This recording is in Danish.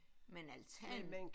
Men altanen